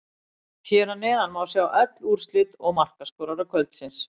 Hér að neðan má sjá öll úrslit og markaskorara kvöldsins: